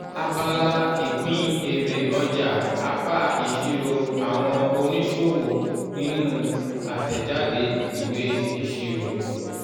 abala ìpín èrè ọjà apá ìṣirò́ àwọn oníṣòwò nínú àtẹ̀jáde ìwé ìṣirò.